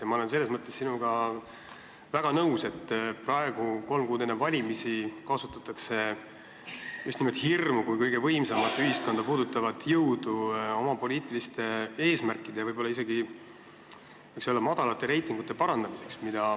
Ma olen sinuga selles mõttes väga nõus, et praegu, kolm kuud enne valimisi, kasutatakse just nimelt hirmu kui kõige võimsamat ühiskonda puudutavat jõudu oma poliitiliste eesmärkide tarbeks, võiks isegi öelda, madalate reitingute parandamiseks.